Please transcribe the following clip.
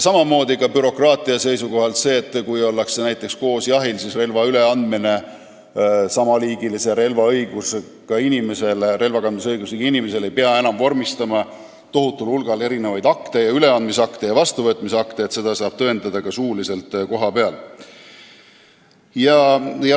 Samamoodi on bürokraatia vähendamise seisukohalt oluline see, et kui ollakse näiteks koos jahil, siis relva üleandmiseks sama liiki relva kandmise õigusega inimesele ei pea enam vormistama tohutul hulgal akte, üleandmisakte ja vastuvõtmisakte, seda saab tõendada ka suuliselt kohapeal.